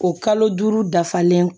O kalo duuru dafalen